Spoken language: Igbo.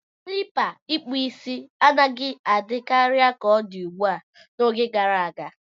Klipa ikpu isi anaghị adị karị ka odi ugbua, n'oge gara aga.